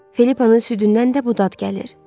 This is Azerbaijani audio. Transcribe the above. Filippanın südündən də bu dad gəlir.